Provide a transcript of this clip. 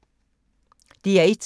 DR1